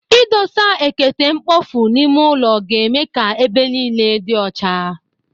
Ịdosa ekete mkpofu n'ime ụlọ ga-eme ka ebe niile dị ọcha.